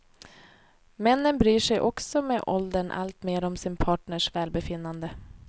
Männen bryr sig också med åldern allt mer om sin partners välbefinnande.